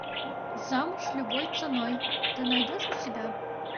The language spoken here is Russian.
замуж любой ценой ты найдешь у себя